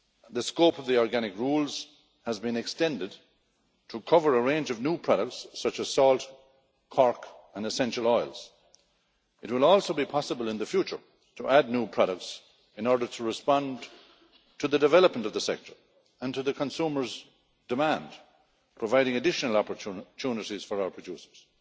The scope of the organic rules has been extended to cover a range of new products such as salt, cork and essential oils. It will also be possible in the future to add new products in order to respond to the development of the sector and to the consumers' demand, providing additional opportunities for our producers.